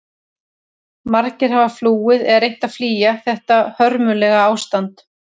Margir hafa flúið eða reynt að flýja þetta hörmulega ástand.